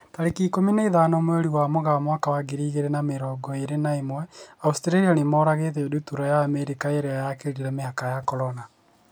Tarĩki ikũmi na ithano mweri wa Mũgaa mwaka wa ngiri igĩrĩ na mĩrongo ĩrĩ na ĩmwe, Australia nĩmoragĩte ndutura ya Amerika na ĩrĩa yakĩrire mĩhaka ya Corona.